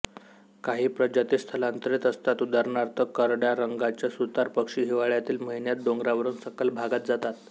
काही प्रजाती स्थलांतरित असतात उदाहरणार्थ करड्यारंगाच्या सुतार पक्षी हिवाळ्यातील महिन्यांत डोंगरावरून सखल भागात जातात